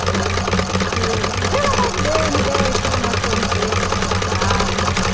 Aí eu digo, pelo amor de Deus, me deixe, pelo amor de Deus, me deixe que eu vou para casa.